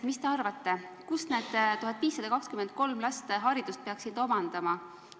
Mis te arvate, kus need 1523 last haridust peaksid omandama?